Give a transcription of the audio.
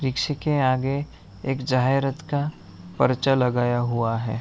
रिक्शे के आगे एक जहायरत का पर्चा लगाया हुआ है।